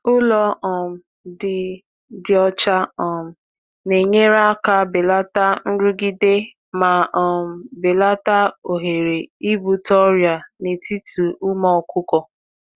Ụlọ dị ọcha um na-enye aka belata nrụgide ma na-egbochi ọrịa n’etiti ụmụ anụ ọkụkọ.